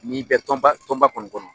N'i bɛ tɔnba tɔnba kɔni kɔnɔ